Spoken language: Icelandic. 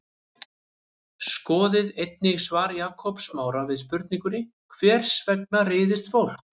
Skoðið einnig svar Jakobs Smára við spurningunni Hvers vegna reiðist fólk?